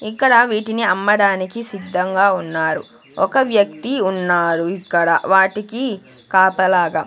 ఇక్కడ వీటిని అమ్మడానికి సిద్ధంగా ఉన్నారు ఒక వ్యక్తి ఉన్నారు ఇక్కడ వాటికి కాపలాగా.